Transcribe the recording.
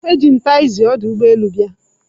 Eji m taxzi ọdụ ụgbọ elu bịa.